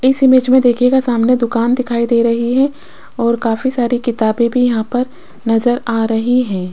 इस इमेज मे देखियेगा सामने दुकान दिखाई दे रही है और काफी सारी किताबें भी यहां पर नज़र आ रही है।